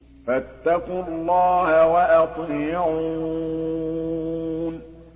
فَاتَّقُوا اللَّهَ وَأَطِيعُونِ